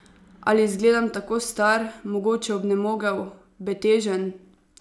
Ali zgledam tako star, mogoče obnemogel, betežen?